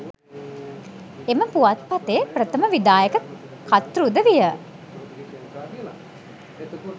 එම පුවත්පතේ ප්‍රථම විධායක කර්තෘද විය.